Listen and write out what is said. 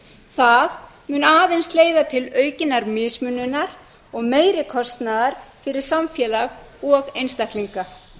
það mun aðeins leiða til aukinnar mismununar og meiri kostnaðar fyrir samfélag og einstaklinga